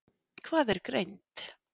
Hvað er greind?